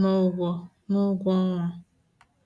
n'ụgwọ n'ụgwọ ọnwa